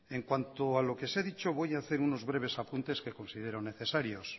en cuanto a lo que se ha dicho voy hacer unos breves apuntes que considero necesarios